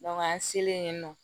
an selen yen nɔ